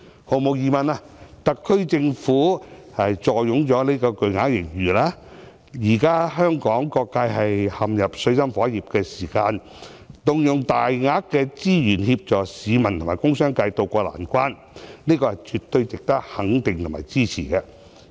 毫無疑問，特區政府坐擁巨額盈餘，而現時當香港各界陷入水深火熱，動用巨額款項協助市民和工商界渡過難關，是絕對值得肯定和支持的。